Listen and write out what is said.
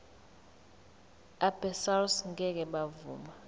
abesars ngeke bavuma